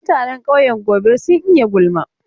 Mutanen ƙauyen Gobir sun iya gulma.